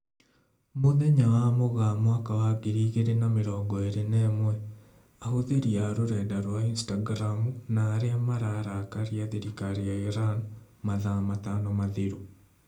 Mũthenya wa Mũgaa mwaka wa ngiri igĩrĩ na mirongo ĩrĩ na ĩmwe: Ahũthĩri a rũrenda rwa Instagramu na arĩa mararakaria thirikari ya Iran mathaa matano mathiru